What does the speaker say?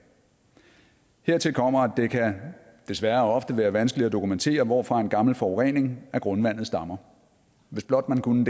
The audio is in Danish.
hertil kommer at det desværre ofte kan være vanskeligt at dokumentere hvorfra en gammel forurening af grundvandet stammer hvis blot man kunne